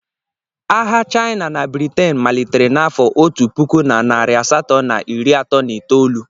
Agha China na Britin malitere n'afọ otu puku na narị asatọ na iri atọ na itoolu.